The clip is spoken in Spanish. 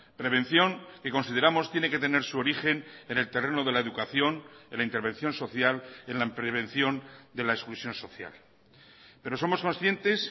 prevención que consideramos tiene que tener su origen en el terreno de la educación en la intervención social en la prevención de la exclusión social pero somos conscientes